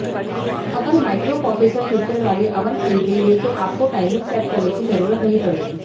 अगर microprocessor feature वाले oven खरीदेंगे तो आपको टाइमिंग सेट करने की जरूरत नहीं पड़ेगी